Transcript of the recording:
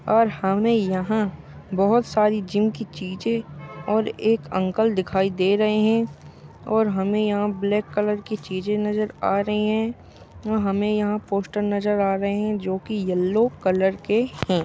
और हमे यहाँ बहुत सारी जिम की चीजे और एक अंकल दिखाई दे रहे है और हमे यहाँ ब्लैक कलर की चीजे नज़र आ रही है और हमे यहाँ पोस्टर नजर आ रहे है जो कि येल्लो कलर के है।